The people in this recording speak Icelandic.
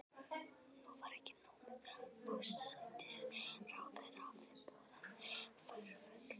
Nú var ekki nóg með að forsætisráðherra hafði boðað forföll.